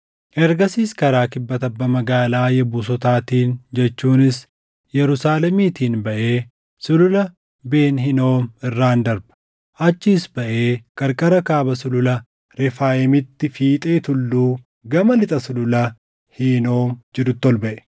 Ergasiis karaa kibba tabba magaalaa Yebuusotaatiin jechuunis Yerusaalemitiin baʼee Sulula Ben Hinoom irraan darba. Achiis baʼee qarqara kaaba Sulula Refaayimitti fiixee tulluu gama lixa Sulula Hinoom jirutti ol baʼe.